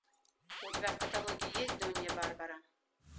у тебя в каталоге есть донья барбара